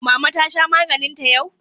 Mama ta sha maganinta yau?